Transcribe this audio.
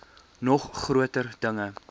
nog groter dinge